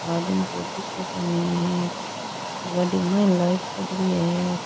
आदमी कोई दिखे कोणी गाड़ी में लाइट जगरी है।